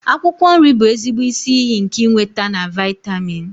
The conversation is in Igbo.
Akwụkwọ nri bụ ezigbo isi iyi nke ịnweta na vịatamin.